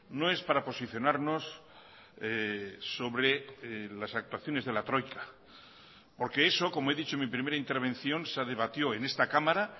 no es para posicionarnos sobre las actuaciones de la troika porque eso como he dicho en mi primera intervención se debatió en esta cámara